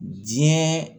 Diɲɛ